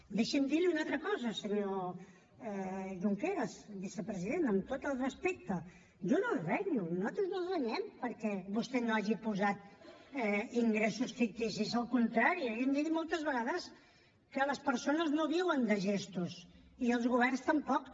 deixi’m dir li una altra cosa senyor junqueras vicepresident amb tot el respecte jo no el renyo nosaltres no el renyem perquè vostè no hagi posat ingressos ficticis al contrari li hem dit moltes vegades que les persones no viuen de gestos i els governs tampoc